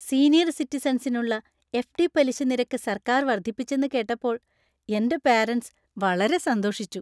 Senior സിറ്റിസൻസിനുള്ള FD. പലിശ നിരക്ക് സർക്കാർ വർദ്ധിപ്പിച്ചെന്ന് കേട്ടപ്പോൾ എന്‍റെ പെരെന്‍സ് വളരെ സന്തോഷിച്ചു.